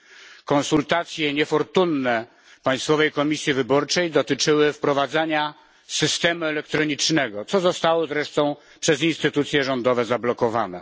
Niefortunne konsultacje Państwowej Komisji Wyborczej dotyczyły wprowadzenia systemu elektronicznego, co zostało zresztą przez instytucje rządowe zablokowane.